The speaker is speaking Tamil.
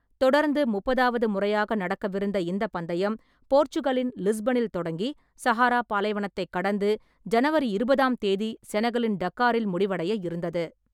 தொடர்ந்து முப்பதாவது முறையாக நடக்கவிருந்த இந்தப் பந்தயம், போர்ச்சுகலின் லிஸ்பனில் தொடங்கி, சஹாரா பாலைவனத்தைக் கடந்து ஜனவரி இருபதாம் தேதி செனகலின் டக்காரில் முடிவடைய இருந்தது.